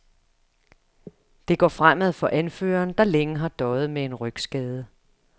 Det går fremad for anføreren, der længe har døjet med en rygskade.